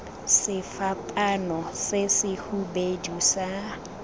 sefapaano se se hubedu sa